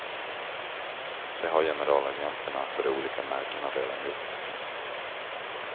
Det har generalagenterna för de olika märkena redan gjort.